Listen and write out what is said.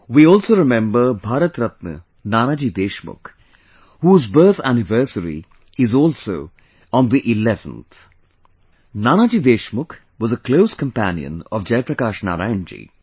We also remember Bharat Ratna Nanaji Deshmukh, whose birth anniversary is also on the 11th Nanaji Deshmukh was a close companion of Jayaprakash Narayan ji